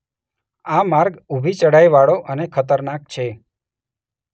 આ માર્ગ ઊભી ચઢાઈવાળો અને ખતરનાક છે.